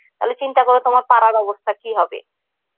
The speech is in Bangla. তাহলে চিন্তা করো তোমার পাড়ার অবস্থা কি হবে